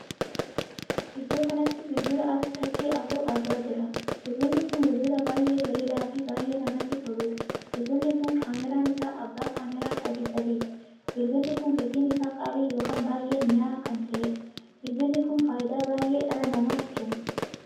Iddoo kanatti bilbila tachii afur argaa jirra. bilbilli kun bilbila baay'ee bareedaa fi baay'ee namatti toluudha. bilbilli kun kaameraan isaa abbaa kaameraa sadi sadiiti. bilbilli kun gatiin isaa qaalii ykn baay'ee minya'aa kan taheedha. bilbilli kun faayidaa baayyee dhala namaaf kenna.